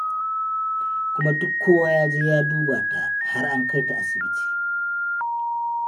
Kuma duk kowa ya je ya duba ta, har an kai ta asibiti.